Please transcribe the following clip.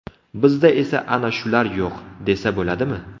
Bizda esa ana shular yo‘q” desa bo‘ladimi.